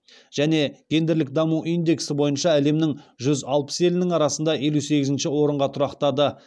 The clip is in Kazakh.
және гендерлік даму индексі бойынша әлемнің жүз алпыс елінің арасында елу сегізінші орынға тұрақтады